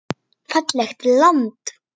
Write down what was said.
Fallegt land.